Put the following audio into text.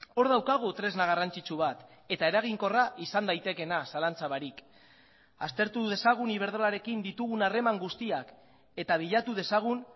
hor daukagu tresna garrantzitsu bat eta eraginkorra izan daitekeena zalantza barik aztertu dezagun iberdrolarekin ditugun harreman guztiak eta bilatu dezagun